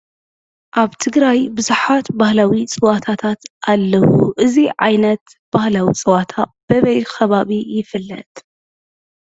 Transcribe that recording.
ኣብ ትግራይ ቡዙሓት ባህላዊ ፀወታት ኣለው። እዙይ ዓይነት ባህላዊ ፀወታ በበይ ከባቢ ይፍለጥ ?